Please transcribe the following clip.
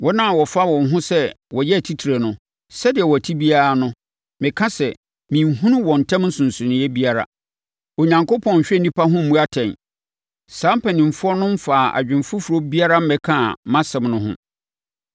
Wɔn a wɔfa wɔn ho sɛ wɔyɛ atitire no, sɛdeɛ wɔte biara no, meka sɛ, menhunu wɔn ntam nsonsonoeɛ biara. Onyankopɔn nhwɛ nnipa ho mmu atɛn; saa mpanimfoɔ no mfaa adwene foforɔ biara mmɛkaa mʼasɛm no ho.